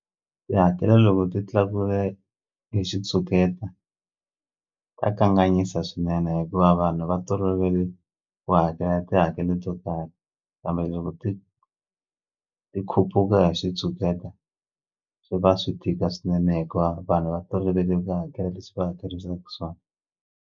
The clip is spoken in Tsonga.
Tihakelo loko ti tlakuke hi xitshuketa ta kanganyisa swinene hikuva vanhu va tolovele ku hakela tihakelo to karhi kambe loko ti ti khuphuka hi xitshuketa swi va swi tika swinene hikuva vanhu va tolovele ku hakela leswi va hakerisaku swona.